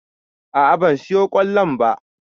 A'a ban siyo ƙwallon ba